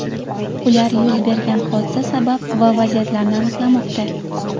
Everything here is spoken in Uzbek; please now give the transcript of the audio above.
Ular yuz bergan hodisa sabab va vaziyatlarini aniqlamoqda.